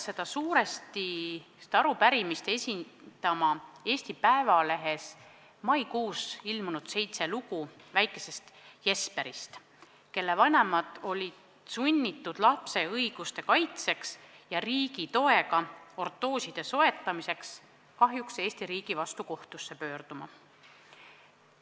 Seda arupärimist esitama ajendas meid suuresti Eesti Päevalehes mais ilmunud seitse lugu väikesest Jesperist, kelle vanemad olid sunnitud selleks, et kaitsta lapse õigust saada riigi toega ortoos, kahjuks Eesti riigi vastu kohtusse pöörduma.